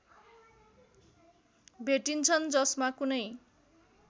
भेटिन्छन् जसमा कुनै